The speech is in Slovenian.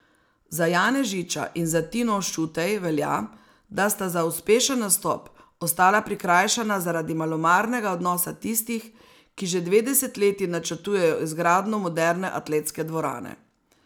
Za Janežiča in za Tino Šutej velja, da sta za uspešen nastop ostala prikrajšana zaradi malomarnega odnosa tistih, ki že dve desetletji načrtujejo izgradnjo moderne atletske dvorane.